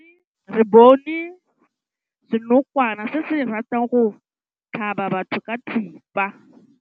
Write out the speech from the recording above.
Re bone senokwane se se ratang go tlhaba batho ka thipa.